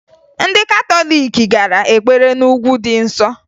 Ndị katọliiki gara ekpere na Ugwu dị Nsọ